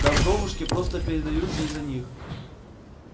да вдовушки просто передаются из-за них